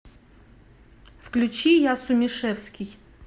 включи я сумишевский